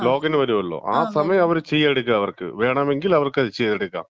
Login വരുവല്ലോ? ആ സമയത്ത്, ആ സമയത്തേ അവർക്ക് ചെയ്തെടുക്കാ, വേണമെങ്കില്. അവർക്കത് ചെയ്തെടുക്കാം.